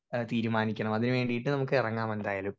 speaker 1 ഏഹ് തീരുമാനിക്കണം അതിനു വേണ്ടീട്ട് നമ്മുക്ക് എറങ്ങാം എന്തായാലും